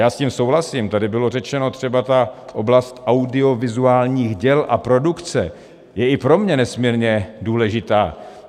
Já s tím souhlasím, tady byla řečena třeba ta oblast audiovizuálních děl a produkce, je i pro mě nesmírně důležitá.